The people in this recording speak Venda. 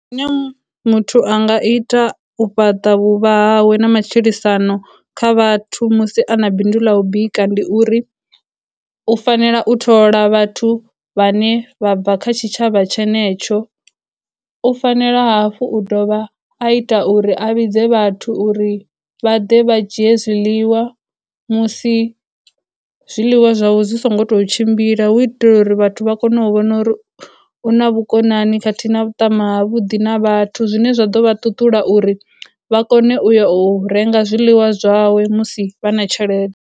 Muthu anga ita u fhaṱa vhuvha hawe na matshilisano kha vhathu musi a na bindu ḽa u bika ndi uri, u fanela u thola vhathu vhane vha bva kha tshitshavha tshenetsho, u fanela hafhu u dovha a ita uri a vhidze vhathu uri vha ḓe vha dzhie zwiḽiwa musi zwiḽiwa zwawe zwi songo tou tshimbila hu u itela uri vhathu vha kone u vhona uri u na vhukonani khathihi na vhuṱama ha vhuḓi na vhathu, zwine zwa ḓo vha tutula uri vha kone u ya u renga zwiḽiwa zwawe musi vha na tshelede.